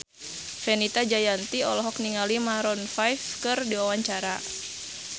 Fenita Jayanti olohok ningali Maroon 5 keur diwawancara